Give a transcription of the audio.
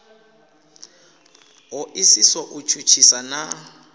ho isiso u tshutshisa na